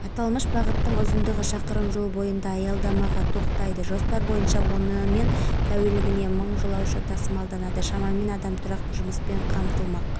меморандум екі жақты қарым-қатынасты барынша дамытуға негізделген эни әлемнің елінде бизнес жүргізіп отырған халықаралық тәжрибелі компания яғни олардан үйренеріміз көп бірінші